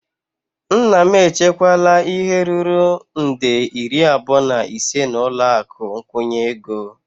Nna m echekwala ihe ruru nde iri abụọ na ise n'ụlọ akụ nkwụnye ego.